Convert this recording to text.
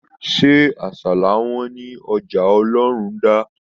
Se àsálà wọn ní ọjà Olorunda?